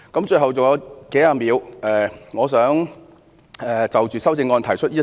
最後，還有數十秒，我想就修正案提出一點。